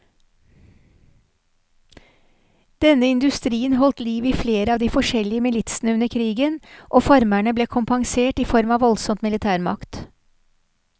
Denne industrien holdt liv i flere av de forskjellige militsene under krigen, og farmerne ble kompensert i form av voldsom militærmakt.